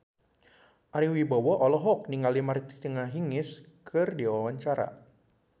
Ari Wibowo olohok ningali Martina Hingis keur diwawancara